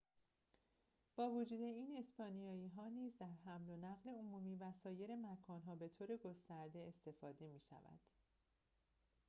با وجود این اسپانیایی نیز در حمل و نقل عمومی و سایر مکان‌ها به‌طور گسترده استفاده می‌شود